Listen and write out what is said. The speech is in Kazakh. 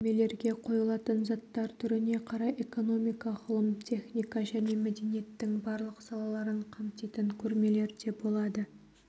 көрмелерге қойылатын заттар түріне қарай экономика ғылым техника және мәдениеттің барлық салаларын қамтитын көрмелер де болады